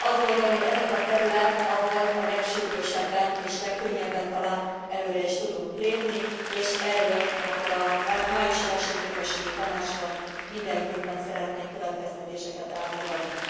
Azt gondolom, hogy ez a terület, ahol a legsürgősebben és legkönnyebben talán előre is tudunk lépni, és erről akkor a májusi Versenyképességi Tanácsban mindenképpen szeretnénk következtetéseket elfogadni.